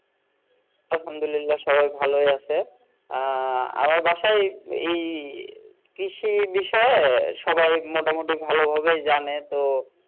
আলহামদুলিল্লাহ সবাই ভালো ই আছে আহ আমার বাসায় এই কৃষি বিষয়ে সবাই মোটা মুটি ভালো ভাবেই জানে তো